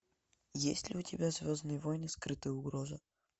есть ли у тебя звездные войны скрытая угроза